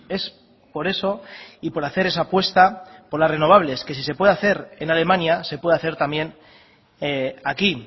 es por eso y por hacer esa apuesta por las renovables que si se puede hacer en alemania se puede hacer también aquí